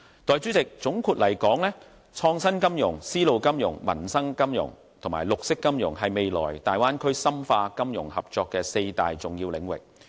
代理主席，總括而言，創新金融、絲路金融、民生金融和綠色金融是未來大灣區深化金融合作的四大重要領域。